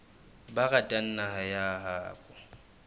ba ratang naha ya habo